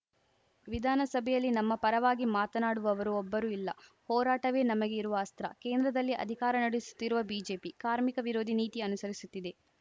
ವಿಧಾನಸಭೆಯಲ್ಲಿ ನಮ್ಮ ಪರವಾಗಿ ಮಾತನಾಡುವವರು ಒಬ್ಬರೂ ಇಲ್ಲ ಹೋರಾಟವೇ ನಮಗೆ ಇರುವ ಅಸ್ತ್ರ ಕೇಂದ್ರದಲ್ಲಿ ಅಧಿಕಾರ ನಡೆಸುತ್ತಿರುವ ಬಿಜೆಪಿ ಕಾರ್ಮಿಕ ವಿರೋಧಿ ನೀತಿ ಅನುಸರಿಸುತ್ತಿದೆ